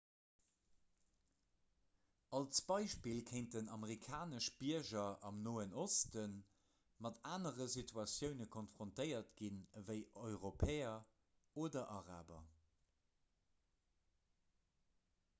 als beispill kéinten amerikanesch bierger am noen oste mat anere situatioune konfrontéiert ginn ewéi europäer oder araber